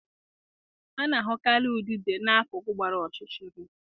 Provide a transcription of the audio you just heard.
A na-ahụkarị udide na-akuku gbara ọchịchịrị.